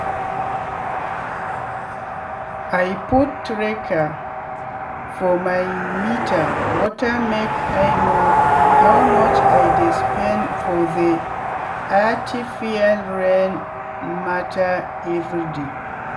i put tracker for my meter watermake i know how much i dey spend for the aritifial rain matter everyday.